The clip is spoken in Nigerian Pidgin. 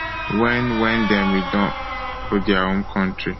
wen wen dem return go dia home kontri